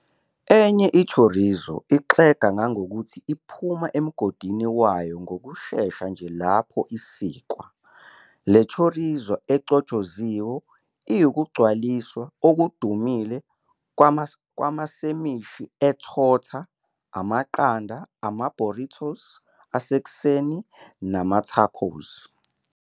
Enye i-chorizo ixega kangangokuthi iphuma emgodini wayo ngokushesha nje lapho isikwa, le "chorizo" echotshoziwe iwukugcwalisa okudumile kwamasemishi e-torta, amaqanda, ama-burritos asekuseni nama-tacos.